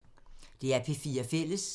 DR P4 Fælles